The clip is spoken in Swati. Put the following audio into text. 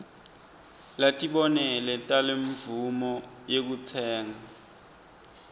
latibonelo talemvumo yekutsenga